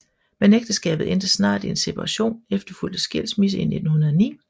Men ægteskabet endte snart i en separation efterfulgt af skilsmisse i 1909